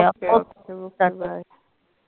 okokby